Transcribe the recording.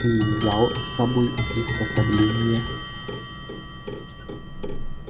ты взял с собой приспособления